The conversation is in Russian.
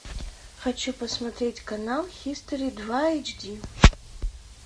хочу посмотреть канал хистори два эйч ди